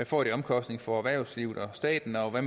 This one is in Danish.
får af omkostninger for erhvervslivet og staten og hvad